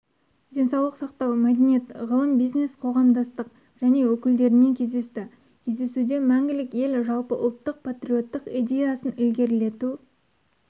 денсаулық сақтау мәдениет ғылым бизнес-қоғамдастық және өкілдерімен кездесті кездесуде мәңгілік ел жалпыұлттық патриоттық идеясын ілгерілету